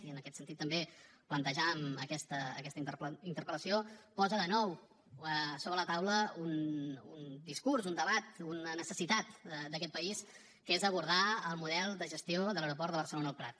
i en aquest sentit també plantejàvem aquesta interpel·lació posa de nou sobre la taula un discurs un debat una necessitat d’aquest país que és abordar el model de gestió de l’aeroport de barcelona el prat